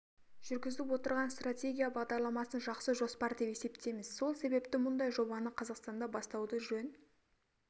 жүргізіп отырған стратегия бағдарламасын жақсы жоспар деп есептейміз сол себепті мұндай жобаны қазақстанда бастауды жөн